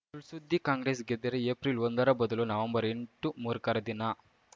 ಸುಳ್‌ಸುದ್ದಿ ಕಾಂಗ್ರೆಸ್‌ ಗೆದ್ದರೆ ಏಪ್ರಿಲ್ಒಂದರ ಬದಲು ಏಪ್ರಿಲ್ಎಂಟು ಮೂರ್ಖರ ದಿನ